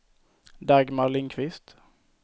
Dagmar Lindquist